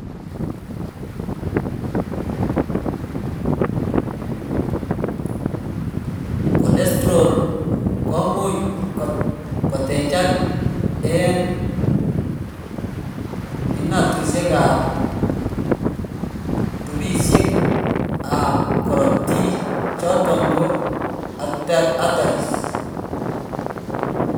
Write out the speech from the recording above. Cholesterol komuch kotechak en inatusiek ab tubisiek ab korotik choton ko arteries